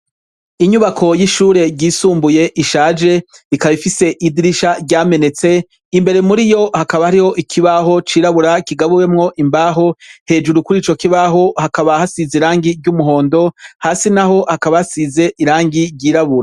Inyubako y'ishure ryisumbuye ishaje, ikaba ifise idirisha ryamenetse, imbere muri yo hakaba hariho ikibaho cirabura, kigabuwemwo imbaho, hejuru kuri ico kibaho hakaba hasize irangi ry'umuhondo, hasi naho hakaba hasize irangi ry'irabura.